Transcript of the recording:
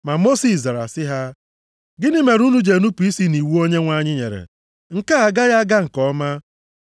Ma Mosis zara sị ha, “Gịnị mere unu ji enupu isi nʼiwu Onyenwe anyị nyere? Nke a agaghị aga nke ọma.